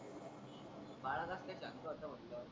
बाळा कस काय शांत होता म्हणटलं.